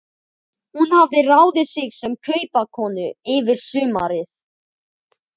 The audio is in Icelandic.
Hún hafði ráðið sig sem kaupakonu yfir sumarið.